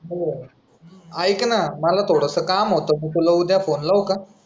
ऐक ना मला थोडस काम होतं मी तुला उद्या फोन लावू का?